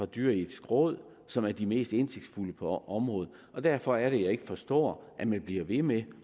dyreetiske råd som består af de mest indsigtsfulde folk på området derfor er det at jeg ikke forstår at man bliver ved med